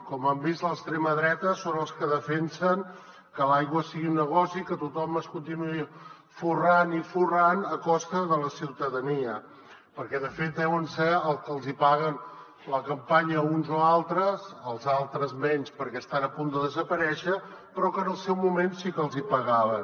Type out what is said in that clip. com han vist l’extrema dreta són els que defensen que l’aigua sigui un negoci que tothom es continuï forrant i forrant a costa de la ciutadania perquè de fet deuen ser els que els hi paguen la campanya als uns o als altres als altres menys perquè estan a punt de desaparèixer però que en el seu moment sí que els hi pagaven